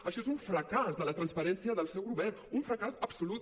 això és un fracàs de la transparència del seu govern un fracàs absolut